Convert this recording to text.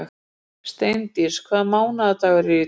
Steindís, hvaða mánaðardagur er í dag?